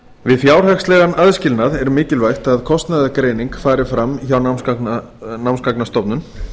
við fjárhagslegan aðskilnað er mikilvægt að kostnaðargreining fari fram hjá námsgagnastofnun